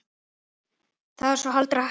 Það er þá allra helst!